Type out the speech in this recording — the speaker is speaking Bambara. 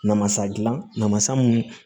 Namasa dilan namasa mun